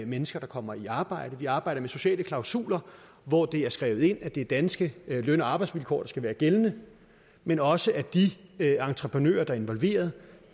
mennesker der kommer i arbejde vi arbejder med sociale klausuler hvor det er skrevet ind at det er danske løn og arbejdsvilkår der skal være gældende men også at de entreprenører der er involveret